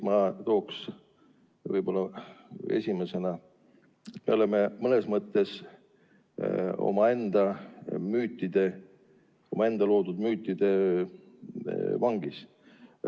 Ma toon esimesena välja selle, et me oleme mõnes mõttes enda loodud müütide vangis.